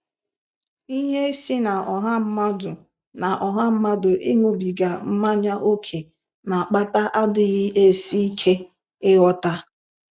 Ihe si na ọha mmadụ na ọha mmadụ ịṅụbiga mmanya ókè na-akpata adịghị esi ike ịghọta.